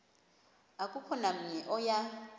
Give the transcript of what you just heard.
akukho namnye oya